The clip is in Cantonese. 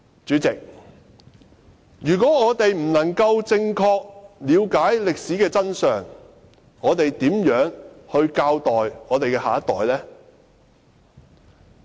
主席，如果我們無法正確了解歷史的真相，試問如何教育下一代呢？